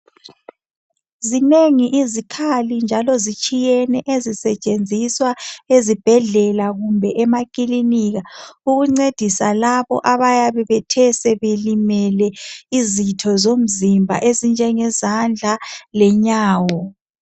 Zinengi izikhali njalo zitshiyene ezisetshenziswa ezibhedlela kumbe emakilinika ukuncedisa labo abayabe bethe sebelimele izitho zomzimba ezinjenge zandla lenyawo.